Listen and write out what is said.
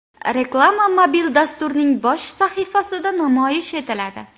Reklama mobil dasturning bosh sahifasida namoyish etiladi.